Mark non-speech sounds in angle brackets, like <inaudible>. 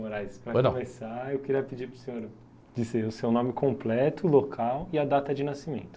<unintelligible> pois não, para começar, eu queria pedir para o senhor dizer o seu nome completo, local e a data de nascimento.